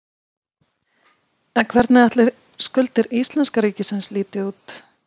En hvernig ætli skuldir íslenska ríkisins líti út?